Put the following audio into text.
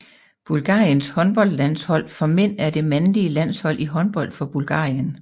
Bulgariens håndboldlandshold for mænd er det mandlige landshold i håndbold for Bulgarien